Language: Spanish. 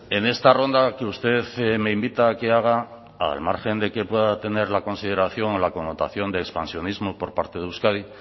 en esta ronda que usted me invita a que haga al margen de que pueda tener la consideración o la connotación de expansionismo por parte de euskadi